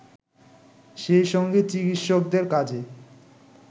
সেইসঙ্গে চিকিৎসকদের কাজে